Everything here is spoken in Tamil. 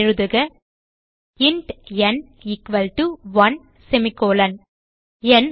எழுதுக இன்ட் ந் எக்வால்ட்டோ 1 ந்